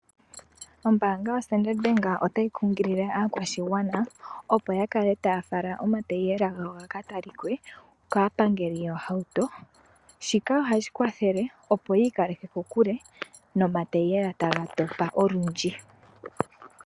Ombaanga yoStandard Bank otayi kunyilile aakwashigwana opo yakale taya fala omatayiyela gawo gakatalike kaapangeli yoohauto. Shika ohashi kwathele opo yiikaleke kokule nomatiyiyela tagatopa olundji.